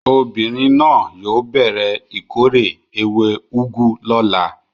Obìnrin náà yóò bẹ̀rẹ̀ ìkórè ewé úgú lọ́la.